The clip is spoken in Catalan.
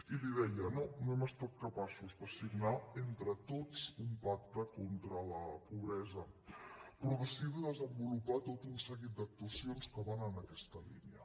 i li deia no no hem estat capaços de signar entre tots un pacte contra la pobresa però sí de desenvolupar tot un seguit d’actuacions que van en aquesta línia